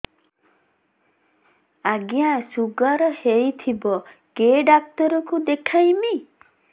ଆଜ୍ଞା ଶୁଗାର ହେଇଥିବ କେ ଡାକ୍ତର କୁ ଦେଖାମି